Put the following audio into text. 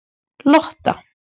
Lotta